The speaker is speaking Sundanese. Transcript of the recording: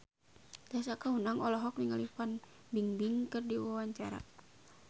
Tessa Kaunang olohok ningali Fan Bingbing keur diwawancara